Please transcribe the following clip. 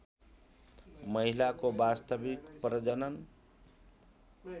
महिलाको वास्तविक प्रजनन